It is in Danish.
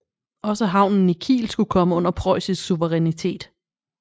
Også havnen i Kiel skulle komme under preussisk souverinitæt